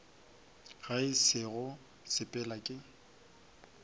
ga se go sepela ke